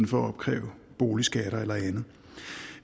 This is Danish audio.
for at opkræve boligskatter eller andet